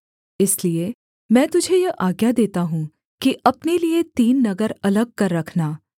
इसलिए मैं तुझे यह आज्ञा देता हूँ कि अपने लिये तीन नगर अलग कर रखना